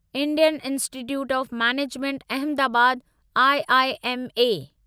Indian institute of management Ahmedabad IIM